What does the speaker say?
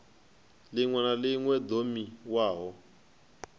ḽiṅwe na ḽiṅwe ḓo thomiwaho